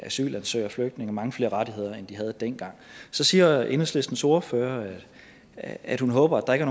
asylansøgere og flygtninge mange flere rettigheder end de havde dengang så siger enhedslistens ordfører at hun håber at der ikke